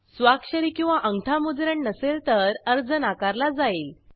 स्वाक्षरी किंवा आंगठा मुद्रण नसेल तर अर्ज नाकारला जाईल